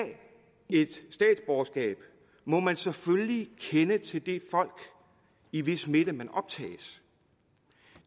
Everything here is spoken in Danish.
et statsborgerskab må man selvfølgelig kende til det folk i hvis midte man optages